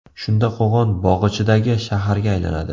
Shunda Qo‘qon bog‘ ichidagi shaharga aylanadi.